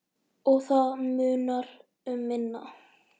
Og það munar um minna.